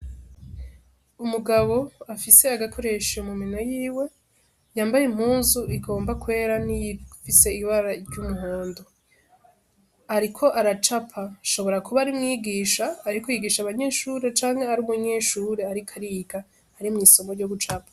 Umugabo afise agakoresho mu minwe yiwe, yambaye impuzu igomba kwera n'iyifise ibara ry'umuhondo, ariko aracapa, ashobora kuba ari umwigisha ariko yigisha abanyeshure canke ari umunyeshure ariko ariga ari mw'isomo ryo gucapa.